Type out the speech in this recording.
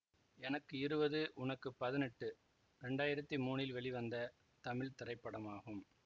எனக்கு இருவது உனக்கு பதினெட்டு இரண்டாயிரத்தி மூனில் வெளிவந்த தமிழ் திரைப்படமாகும்